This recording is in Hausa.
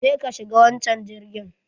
Je ka shiga wanchan girgin